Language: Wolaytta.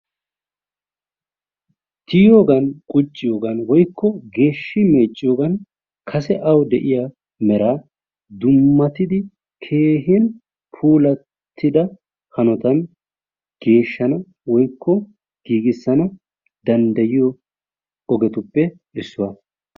Tiyogan qucciyogan woyko geshi mecciyogan kase awu de'iyaa mera dumattidi keehin pulattida hanotan geeshshanawu woyko giigisanawu dandayiyo ogetuppe issuwa.